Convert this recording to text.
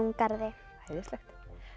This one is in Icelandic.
garði æðislegt